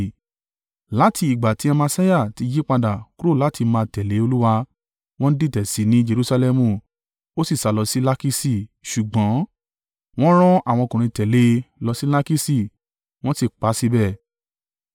Láti ìgbà tí Amasiah ti yípadà kúrò láti máa tẹ̀lé Olúwa, wọ́n dìtẹ̀ sí i ní Jerusalẹmu, ó sì sálọ sí Lakiṣi ṣùgbọ́n, wọ́n rán àwọn ọkùnrin tẹ̀lé e lọ sí Lakiṣi, wọ́n sì pa á síbẹ̀.